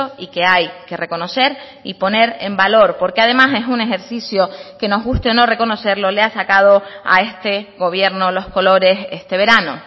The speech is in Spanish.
y que hay que reconocer y poner en valor porque además es un ejercicio que nos guste o no reconocerlo le ha sacado a este gobierno los colores este verano